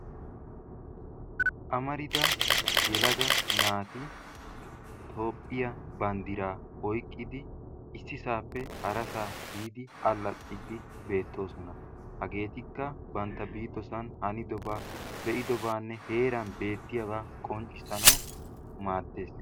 Amarida yelaga naati Toophiya banddira oyqqidi ississappe harasaa biidi allaaxxidi beettooosna. Hagetikka bantta biidoosan hanidaba, be'idoobanne heran beettiyaaba qonccissanaw maaddees.